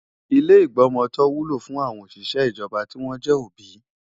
Ilé ìgbọmọtọ́ wúlò fún àwọn òṣìṣẹ́ ijoba tí wọ́n jẹ́ òbí.